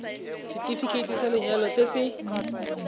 setefikeiti sa lenyalo se se